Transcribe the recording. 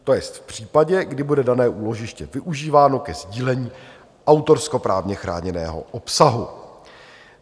To je v případě, kdy bude dané úložiště využíváno ke sdílení autorskoprávně chráněného obsahu.